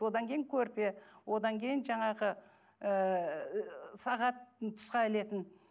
одан кейін көрпе одан кейін жаңағы ыыы сағат тұсқа ілетін